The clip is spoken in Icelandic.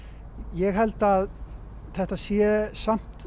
ég held að þetta sé samt